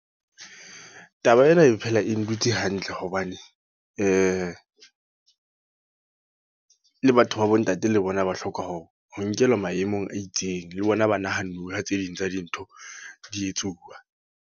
Taba ena e phela e ndutse hantle hobane, le batho ba bo ntate le bona ba hloka hore, ho nkelwa maemong a itseng. Le bona ba nahanuwe ha tse ding tsa dintho di etsuwa.